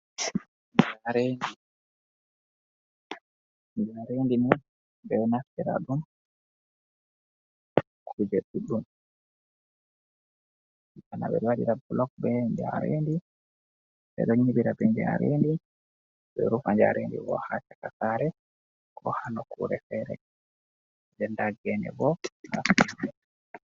Njaaredi. Njaaredi ni, ɓeɗo naftira ɗum, kuje ɗuɗɗum. ɓeɗo waɗira bulok be njaaredi ɓeɗo nyiɓira be njaarendi be rufa njaarendi bo hacaka sare ko hanokkure fere nden nda gene bo hasaraman.